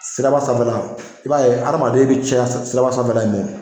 Siraba sanfɛla, i b'a ye adamaden bi caya siraba sanfɛla